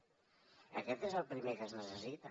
això és el primer que es necessita